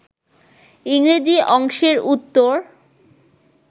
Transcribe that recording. ইংরেজি অংশের উত্তর